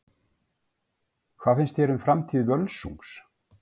Hvað finnst þér um framtíð Völsungs?